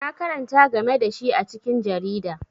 Na karanta game da shi a cikin jarida.